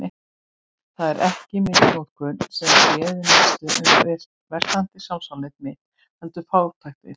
Það var ekki misnotkunin sem réð mestu um versnandi sjálfsálit mitt, heldur fátæktin.